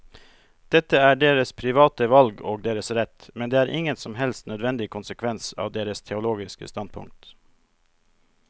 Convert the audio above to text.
Dette er deres private valg og deres rett, men det er ingen som helst nødvendig konsekvens av deres teologiske standpunkt.